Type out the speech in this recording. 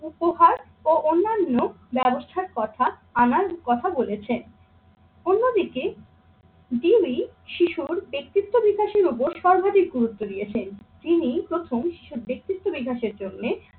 উপহার ও অন্যান্য ব্যবস্থার কথা আনার কথা বলেছেন। অন্যদিকে তিনি শিশুর ব্যক্তিত্ব বিকাশের উপর সর্বাধিক গুরুত্ব দিয়েছেন। ইনিই প্রথম সেই ব্যক্তিত্ব বিকাসের জন্যে